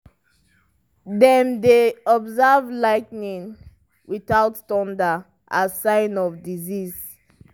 dem dey observe lightning without thunder as sign of disease.